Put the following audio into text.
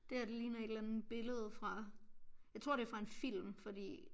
Det her det ligner et eller andet billede fra jeg tror det fra en film fordi